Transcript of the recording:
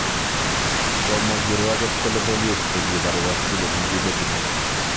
Komwa kirwoket kole bolis che kibar wakili ne ki betito